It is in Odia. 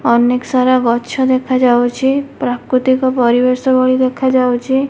ଅନେକ୍ ସାରା ଗଛ ଦେଖାଯାଉଛି ପ୍ରାକୃତିକ ପରିବେଶ ଭଳି ଦେଖାଯାଉଛି।